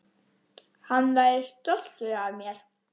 Hann væri stoltur af mér.